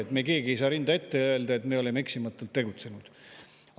Me keegi ei saa rinda ette ja öelda, et me oleme eksimatult tegutsenud.